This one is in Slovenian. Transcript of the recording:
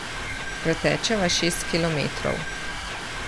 Pretečeva šest kilometrov.